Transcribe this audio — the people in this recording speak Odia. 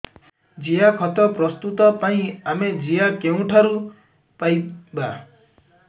ଜିଆଖତ ପ୍ରସ୍ତୁତ ପାଇଁ ଆମେ ଜିଆ କେଉଁଠାରୁ ପାଈବା